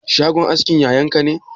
Shagon askin yayan ka ne?